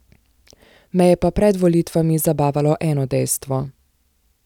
Me je pa pred volitvami zabavalo eno dejstvo.